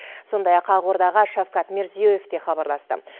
сондай ақ ақордаға шавкат мирзиёев те хабарласты